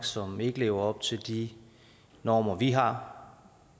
som ikke lever op til de normer vi har